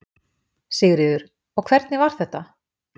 Sigríður: Og hvernig var þetta?